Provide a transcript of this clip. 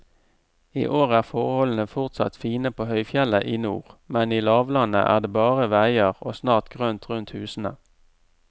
I år er forholdene fortsatt fine på høyfjellet i nord, men i lavlandet er det bare veier og snart grønt rundt husene.